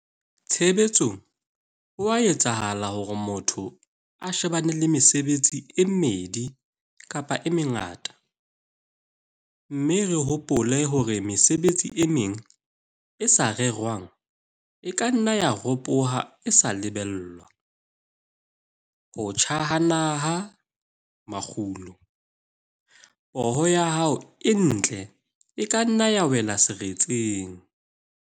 Tshebetsong ho a etsahala hore motho a shebane le mesebetsi e mmedi kapa e mengata, mme re hopole hore mesebetsi e meng e sa rerwang e ka nna ya ropoha e sa lebellwa - ho tjha ha naha-makgulo, poho ya hao e ntle e ka nna ya wela seretseng.